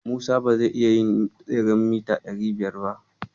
Musa ba zai iya yin tseren mita ɗari biyar ba.